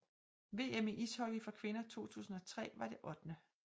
VM i ishockey for kvinder 2003 var det 8